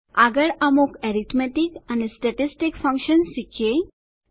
આગળ અમુક એરીથ્મેતિક અને સ્ટેટીસ્ટીક ફંકશન્સ શીખીએ